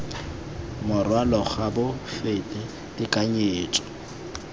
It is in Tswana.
morwalo ga bo fete tekanyetso